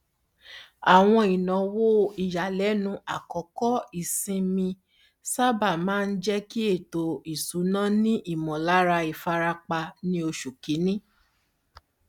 àwọn ináwó ìyàlẹnu àkókò ìsinmi sábà máa ń jẹ kí ètò isúnà ni ìmọlára ìfarapa ní oṣù kínní